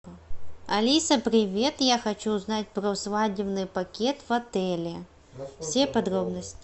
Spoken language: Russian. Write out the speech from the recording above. алиса привет я хочу узнать про свадебный пакет в отеле все подробности